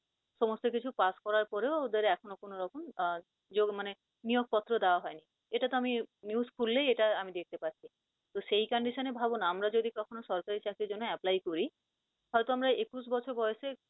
সমস্ত কিছু pass করার পরেও ওদের এখনও কোন রকম আহ মানে নিয়োগপত্র দেওয়া হয় নি। এটাত আমি news খুল্লেই আমি দেখতে পাচ্ছি। তো condition এ ভাবও না আমরা যদি কখনও সরকারি চাকরির জন্য apply করি, তাহলে তো আমরা একুশ বছর বয়সে